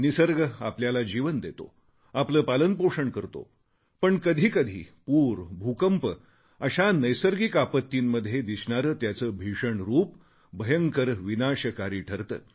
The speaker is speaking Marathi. निसर्ग आपल्याला जीवन देतो आपले पालनपोषण करतो पण कधीकधी पूर भूकंप अशा नैसर्गिक आपत्तींमध्ये दिसणारे त्याचे भीषण रूप भयंकर विनाशकारी ठरते